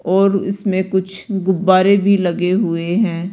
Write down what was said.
और उसमें कुछ गुब्बारे भी लगे हुएं हैं।